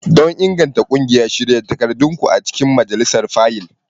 Don inganta ƙungiya, shirya takardunku a cikin majalisar fayil.